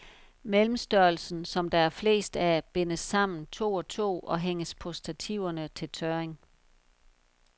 Mellemstørrelsen, som der er flest af, bindes sammen to og to og hænges på stativerne til tørring.